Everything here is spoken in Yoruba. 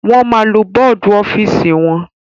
Wọ́n máa lo bọ́dù ọ́fìsì wọn.